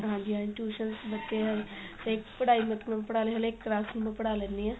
ਹਾਂਜੀ ਹਾਂਜੀ tuition ਬੱਚੇ ਹੈਗੇ ਤੇ ਪੜਾਈ ਹਰ ਇੱਕ classes ਨੂੰ ਪੜਾ ਲੈਣੀ ਆ